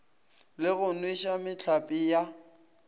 le go nweša mehlape ya